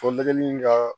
Fo dɛgɛli in ka